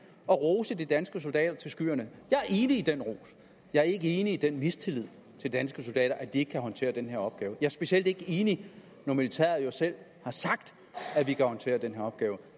at rose de danske soldater til skyerne jeg er enig i den ros jeg er ikke enig i den mistillid til danske soldater altså at de ikke kan håndtere den her opgave jeg er specielt ikke enig når militæret jo selv har sagt at de kan håndtere den her opgave